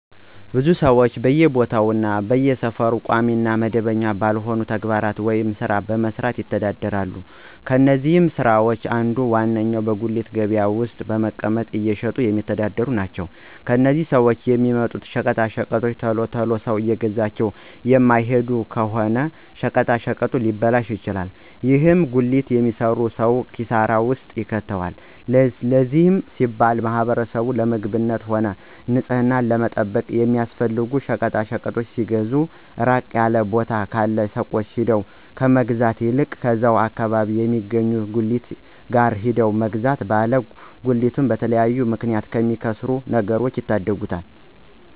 ብዙ ሰወች በየቦታው እና በየሰፈሩ ቋሚ እና መደበኛ ባልሆነ ተግባር ወይም ስራ በመስራት ይተዳደራሉ። ከነዚህም ስራወች አንዱ እና ዋነኛው በጉሊት ገበያ ውስጥ በመቀመጥ እየሸጡ የሚተዳደሩ ናቸው። እነዚህም ሰወች የሚያመጡት ሸቀጣሸቀጦች ቶሎ ቶሎ ሰው እየገዛቸው የማይሄድላቸው ከሆነ ሸቀጣሸቀጡ ሊበላሹ ይችላሉ። ይህም ጉሊት የሚሰራውን ሰው ኪሳራ ውስጥ ይከተዋል። ለዚህም ሲባል ማህበረሰቡ ለምግብነትም ሆነ ንፅህናቸውን ለመጠበቅ የሚያስፈልጉ ሸቀጣሸቀጦችን ሲገዙ ራቅ ያለ ቦታ ካሉ ሱቆች ሄዶ ከመግዛት ይልቅ እዛው አከባቢያቸው የሚገኙ ጉሊቶች ጋር ሄዶ መግዛት ባለ ጉሊቱን በተለያየ ምክንያት ከሚያከስሩት ነገሮች ይታደጉታል።